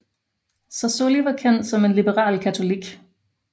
Sassoli var kendt som en liberal katolik